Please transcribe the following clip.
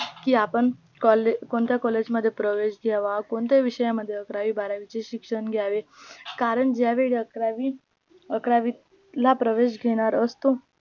की आपण कॉले कोणत्या collage मध्ये प्रवेश घ्यावा कोणत्या विषय मध्ये अकरावी बारवीच शिक्षण घ्यावे? कारण ज्यावेळी अकरावी अकरावीचे प्रवेश घेणार असतो